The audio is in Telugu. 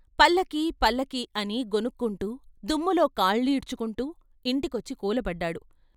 "పల్లకీ పల్లకీ" అని గొణుక్కుంటూ దుమ్ములో కాళ్ళీడ్చుకుంటూ ఇంట్లోకొచ్చి కూలబడ్డాడు.